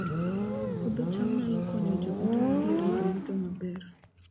Puodho cham nyalo konyo joot modhier yudo yuto maber